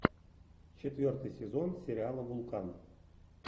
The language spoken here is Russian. четвертый сезон сериала вулкан